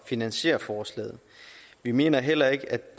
finansiere forslaget vi mener heller ikke